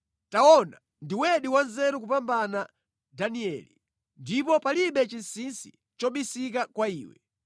Taona, ndiwedi wanzeru kupambana Danieli. Ndipo palibe chinsinsi chobisika kwa iwe.